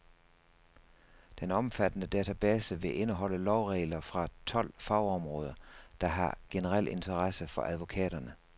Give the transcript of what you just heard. Den omfattende database vil indeholde lovregler fra tolv fagområder, der har generel interesse for advokaterne.